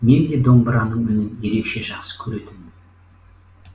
менде домбыраның үнін ерекше жақсы көретінмін